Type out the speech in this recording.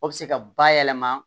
O bɛ se ka bayɛlɛma